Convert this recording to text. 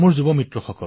মণি কাঞ্চন সংযোগঃ